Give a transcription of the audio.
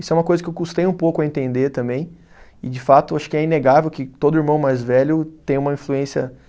Isso é uma coisa que eu custei um pouco a entender também, e de fato acho que é inegável que todo irmão mais velho tem uma influência